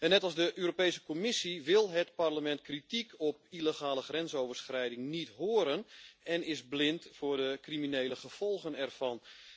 Net als de Europese Commissie wil het Parlement kritiek op illegale grensoverschrijding niet horen en is het blind voor de criminele gevolgen ervan.